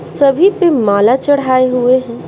सभी पे माला चढ़ाए हुए हैं।